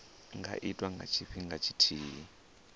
nga itwa nga tshifhinga tshithihi